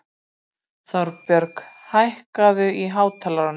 Þorbjörg, hækkaðu í hátalaranum.